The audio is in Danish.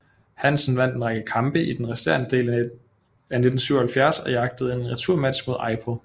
Hansen vandt en række kampe i den resterende del af 1977 og jagtede en returmatch mod Eipel